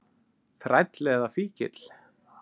Þræll eða fíkill.